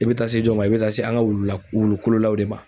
I be taa se jɔ ma, i be taa se an ka wulu la, wulu kolonlaw de ma.